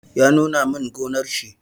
Ya nuna min gonnar shi.